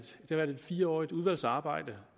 fire års udvalgsarbejde